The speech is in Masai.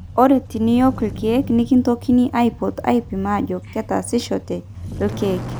ore teniok irkeek nekintokini aipot aipim ajo ketaasishote irkeek